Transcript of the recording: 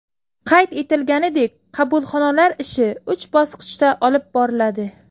Qayd etilganidek, qabulxonalar ishi uch bosqichda olib boriladi.